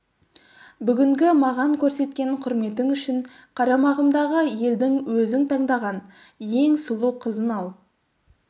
бүгінгі маған көрсеткен құрметің үшін қарамағымдағы елдің өзің таңдаған ең сұлу қызын ал